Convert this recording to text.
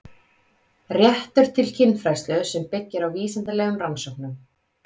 Réttur til kynfræðslu sem byggir á vísindalegum rannsóknum